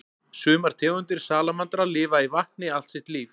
Sumar tegundir salamandra lifa í vatni allt sitt líf.